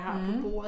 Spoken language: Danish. Mh